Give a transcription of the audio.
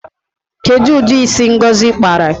Kedu udi isi ngozi kpara?